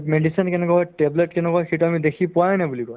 medicine কেনেকুৱা হয় tablet কেনেকুৱা হয় সেইটো আমি দেখি পোৱায়ে নাই বুলি কই